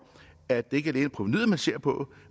at det ikke alene er provenuet man ser på